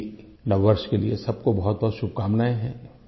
मेरी नव वर्ष के लिए सब को बहुतबहुत शुभकामनाएं है